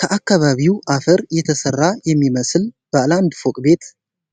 ከአካባቢው አፈር የተሰራ የሚመስል ባለ አንድ ፎቅ ቤት።